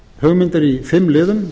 hugmyndir í fimm liðum